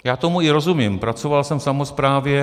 Já tomu i rozumím, pracoval jsem v samosprávě.